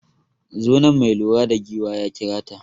Zo nan, mai lura da giwa ya kira ta.